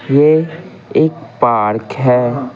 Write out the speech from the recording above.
यह एक पार्क है।